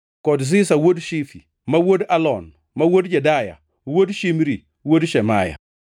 kod Ziza wuod Shifi, ma wuod Alon, ma wuod Jedaya, wuod Shimri, wuod Shemaya.